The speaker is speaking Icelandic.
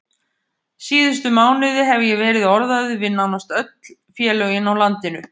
Síðustu mánuði hef ég verið orðaður við nánast öll félögin á landinu.